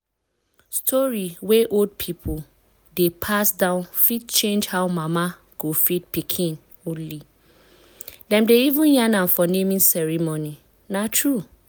story wey old people dey pass down fit change how mama go breastfeed pikin only. dem dey even yarn am for naming ceremony. na true.